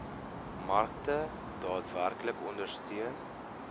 markte daadwerklik ondersteun